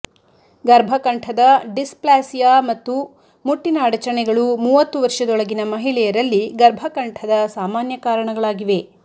ಗರ್ಭಕಂಠದ dysplasia ಮತ್ತು ಮುಟ್ಟಿನ ಅಡಚಣೆಗಳು ಮೂವತ್ತು ವರ್ಷದೊಳಗಿನ ಮಹಿಳೆಯರಲ್ಲಿ ಗರ್ಭಕಂಠದ ಸಾಮಾನ್ಯ ಕಾರಣಗಳಾಗಿವೆ